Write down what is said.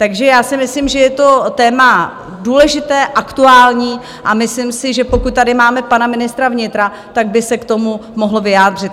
Takže já si myslím, že je to téma důležité, aktuální a myslím si, že pokud tady máme pana ministra vnitra, tak by se k tomu mohl vyjádřit.